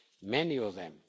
Many of them.